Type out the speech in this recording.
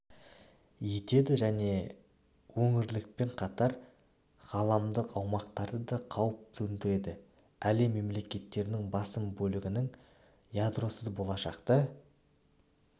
етеді және өңірлікпен қатар ғаламдық ауқымдарда да қауіп төндіреді әлем мемлекеттерінің басым бөлігінің ядросыз болашақты